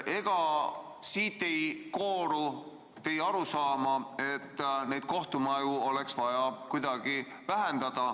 Ega siit ei kooru arusaama, et kohtumajade arvu oleks vaja vähendada?